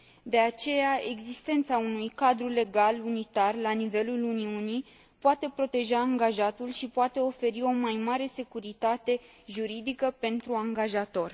De aceea, existența unui cadru legal unitar la nivelul Uniunii poate proteja angajatul și poate oferi o mai mare securitate juridică pentru angajator.